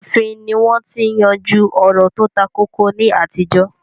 Ààfin ni wọ́n ti ń yanjú ọ̀rọ̀ tó takókó ní àtijọ́